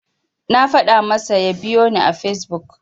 Na faɗa masa ya biyoni a Fesbuk.